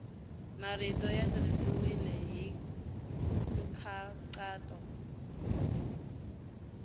marito ya tirhisiwile hi nkhaqato